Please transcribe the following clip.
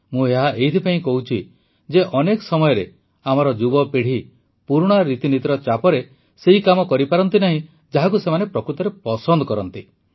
ମୁଁ ଏହା ଏଇଥିପାଇଁ କହୁଛି ଯେ ଅନେକ ସମୟରେ ଆମର ଯୁବପିଢ଼ି ପୁରୁଣା ରୀତିନୀତିର ଚାପରେ ସେହି କାମ କରିପାରନ୍ତି ନାହିଁ ଯାହାକୁ ସେମାନେ ପ୍ରକୃତରେ ପସନ୍ଦ କରନ୍ତି